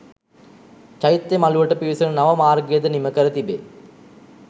චෛත්‍ය මළුවට පිවිසෙන නව මාර්ගයද නිමකර තිබේ